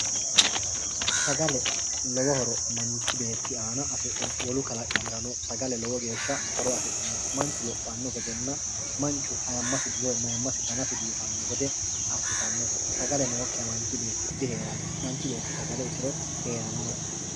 Sagale lowo horo manichi beeti aana afidhino wolu kalaqamirano sagale lowo geesha horo afidhinonote manichu loohanno gedenna manichu ayimasi woyi mayimasi danasi biifanno gede asitannote sagale nooiha manichi beeti diheeranno manichi beeti sagale itiro heeranno